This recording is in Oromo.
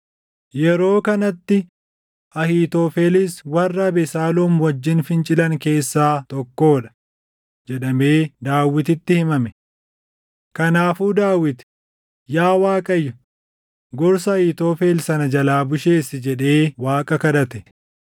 Yeroo kanatti, “Ahiitofelis warra Abesaaloom wajjin fincilan keessaa tokkoo dha” jedhamee Daawititti himame. Kanaafuu Daawit, “Yaa Waaqayyo, gorsa Ahiitofel sana jalaa busheessi” jedhee Waaqa kadhate.